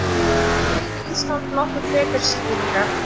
Þarfnast gæði Íslands nokkuð frekari skýringa?